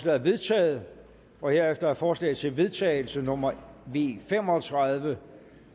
er vedtaget herefter er forslag til vedtagelse nummer v fem og tredive